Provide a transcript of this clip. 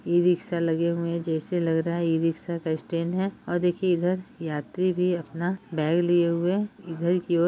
e rickshaw लगे हुए है जैसे लग रहा है इ-रिक्शा का स्टेड है और देखिये इधर यात्री भी अपना बैग लिए हुए इधर की और --